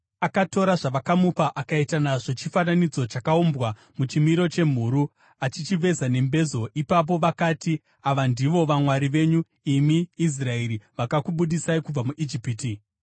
Akatora zvavakamupa akaita nazvo chifananidzo chakaumbwa muchimiro chemhuru, achichiveza nembezo. Ipapo vakati, “Ava ndivo vamwari venyu, imi Israeri, vakakubudisai kubva muIjipiti.”